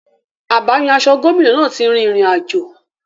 Abáyan-aṣọ gómìnà náà ti rin ìrìn àjò.